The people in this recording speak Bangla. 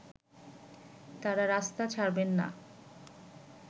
তারা রাস্তা ছাড়বেন না